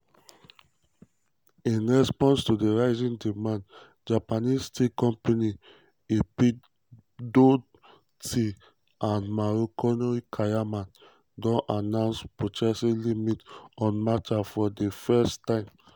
in response to di rising demand japanese tea companies ippodo tea and marukyu koyamaen don announce purchasing um limits on matcha for di first um time.